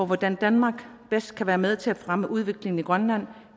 hvordan danmark bedst kan være med til at fremme udviklingen i grønland